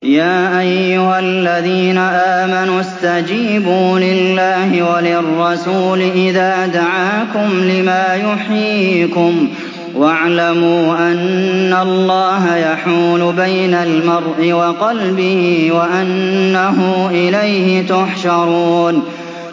يَا أَيُّهَا الَّذِينَ آمَنُوا اسْتَجِيبُوا لِلَّهِ وَلِلرَّسُولِ إِذَا دَعَاكُمْ لِمَا يُحْيِيكُمْ ۖ وَاعْلَمُوا أَنَّ اللَّهَ يَحُولُ بَيْنَ الْمَرْءِ وَقَلْبِهِ وَأَنَّهُ إِلَيْهِ تُحْشَرُونَ